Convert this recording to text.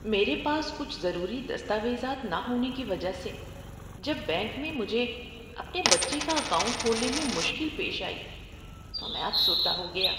میرے پاس کچھ ضروری دستاویزات نہ ہونے کی وجہ سے جب بینک میں مجھے اپنے بچے کا اکاؤنٹ کھولنے میں مشکل پیش آئی تو میں افسردہ ہو گیا۔